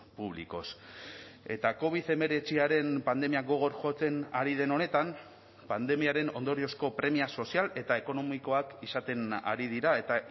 públicos eta covid hemeretziaren pandemia gogor jotzen ari den honetan pandemiaren ondoriozko premia sozial eta ekonomikoak izaten ari dira eta